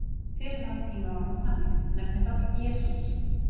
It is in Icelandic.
Fyrir þann tíma var hún þannig: Nefnifall: Jesús